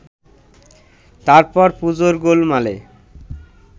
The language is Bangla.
তারপর পুজোর গোলমালে